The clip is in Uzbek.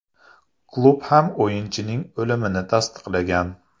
Klub ham o‘yinchining o‘limini tasdiqlagan.